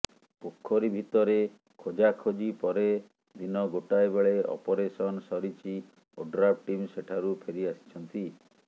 ପୋଖରୀ ଭିତରେ ଖୋଜାଖୋଜି ପରେ ଦିନ ଗୋଟାଏ ବେଳେ ଅପରେସନ ସରିଛି ଓଡ୍ରାଫ ଟିମ ସେଠାରୁ ଫେରି ଆସିଛନ୍ତି